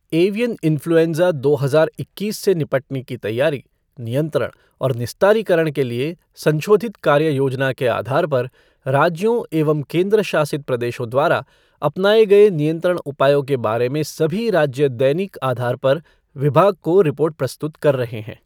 Avian influenza दो हजार इक्कीस से निपटने की तैयारी, नियंत्रण और निस्तारीकरण के लिए संशोधित कार्य योजना के आधार पर राज्यों एवं केंद्र शासित प्रदेशों द्वारा अपनाए गए नियंत्रण उपायों के बारे में सभी राज्य दैनिक आधार पर विभाग को रिपोर्ट प्रस्तुत कर रहे हैं।